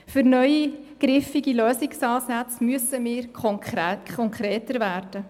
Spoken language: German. Für neue griffige Lösungsansätze müssen wir konkreter werden.